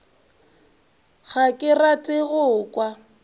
ga ke rate go kwa